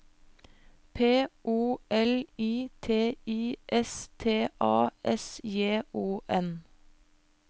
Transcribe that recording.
P O L I T I S T A S J O N